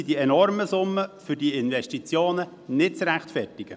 Sonst sind diese enormen Summen für die Investitionen nicht zu rechtfertigen.